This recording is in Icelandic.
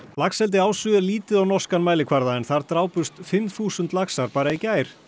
laxeldi Ásu er lítið á norskan mælikvarða en þar drápust fimm þúsund laxar bara í gær